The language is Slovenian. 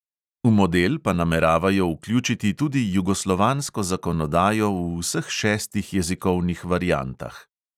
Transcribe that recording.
V model pa nameravajo vključiti tudi jugoslovansko zakonodajo v vseh šestih jezikovnih variantah.